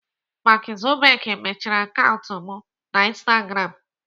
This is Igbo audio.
Mark Zuckerberg mechiri akaụntụ m na instagram.